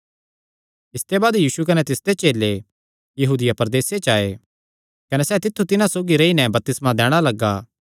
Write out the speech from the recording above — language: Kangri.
इसते बाद यीशु कने तिसदे चेले यहूदिया प्रदेसे च आये कने सैह़ तित्थु तिन्हां सौगी रेई नैं बपतिस्मा दैणा लग्गा